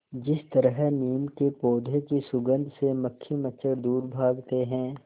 जिस तरह नीम के पौधे की सुगंध से मक्खी मच्छर दूर भागते हैं